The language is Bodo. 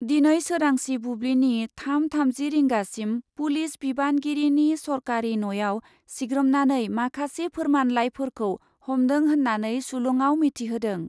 दिनै सोरांसि बुब्लिनि थाम थामजि रिंगासिम पुलिस बिबानगिरिनि सरकारि न'याव सिग्रोमनानै माखासे फोरमान लाइफोरखौ हमदों होन्नानै सुलुङाव मिथिहोदों ।